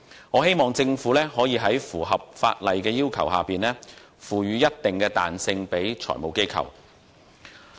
我希望政府可以在符合有關法例要求的情況下，賦予財務機構一定彈性。